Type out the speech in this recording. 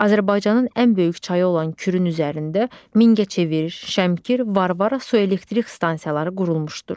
Azərbaycanın ən böyük çayı olan Kürün üzərində Mingəçevir, Şəmkir, Varvara su elektrik stansiyaları qurulmuşdur.